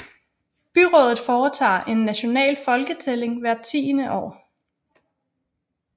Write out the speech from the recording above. Byrådet foretager en national folketælling hvert tiende år